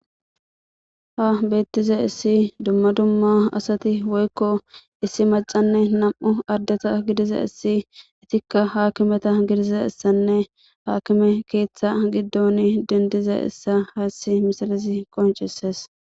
ha beettiza issi dumma dumma asati woykko issi macanne nam7u ardeta gidiza issi itikka haakimeta gidiza issanne haakime keeththa giddon dindiza issa haassi misalizi qoncises